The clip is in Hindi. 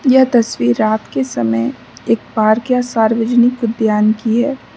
यह तस्वीर रात के समय एक पार्क या सार्वजनिक उद्यान की है।